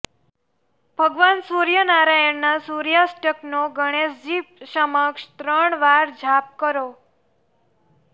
ભગવાન સૂર્યનારાયણના સૂર્યાષ્ટકનો ગણેશજી સમક્ષ ત્રણ વાર જાપ કરો